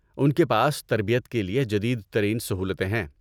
ان کے پاس تربیت کے لیے جدید ترین سہولتیں ہیں۔